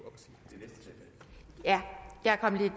så er